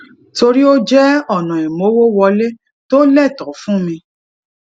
torí ó jé ona imowó wọlé to leto fun mi